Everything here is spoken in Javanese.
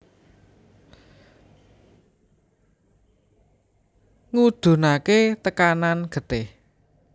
Ngudunake tekanan getih